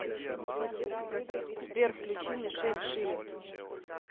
сбер включи мишель шилерс